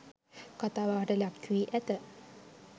කතා බහට ලක් වී ඇත.